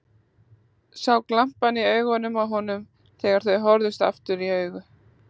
Sá glampann í augunum á honum þegar þau horfðust aftur í augu.